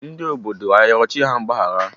Ndị obodo a rịọrọ chi ha mgbaghara?